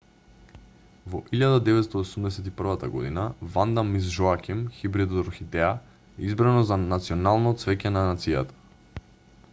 во 1981 година ванда мис жоаким хибрид од орхидеја е избрано за национално цвеќе на нацијата